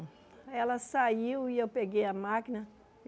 Aí ela saiu e eu peguei a máquina.